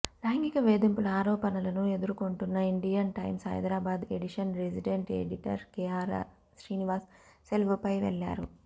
లైంగిక వేధింపుల ఆరోపణలను ఎదుర్కొంటున్న Indian Times Hyderabad edition resident editor K R Srinivas సెలవుపై వెళ్లారు